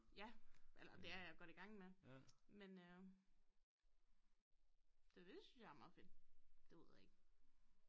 Ja eller det er jeg godt i gang med men øh det synes jeg er meget fedt det ved jeg ikke